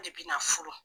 De bɛna furu